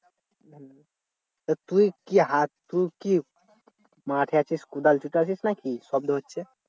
তা তুই কি হাত তুই কি মাঠে আছিস নাকি শব্দ হচ্ছে?